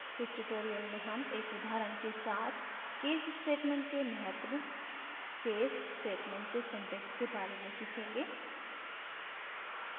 इस tutorial में हम एक उदाहरण के साथ case statement के महत्व case statement के syntax के बारे में सीखेंगे